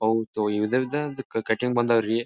ಅವ್ ತವ್ ಇದರದ ಒಂದ ಕಟಿಂಗ್ ಬಂದವ ರೀ.